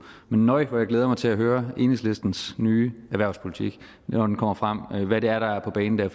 men nøj hvor jeg glæder mig til at høre om enhedslistens nye erhvervspolitik når den kommer frem hvad det er der er på banen der